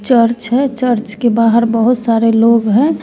Church है church के बाहर बहोत सारे लोग हैं।